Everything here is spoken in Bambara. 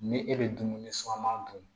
Ni e bɛ dumuni suman dun